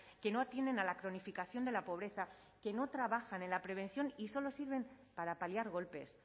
que no atienden a la cronificación de la pobreza que no trabajan en la prevención y solo sirven para paliar golpes